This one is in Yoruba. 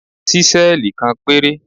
Ṣísẹ́ẹ̀lì kan péré.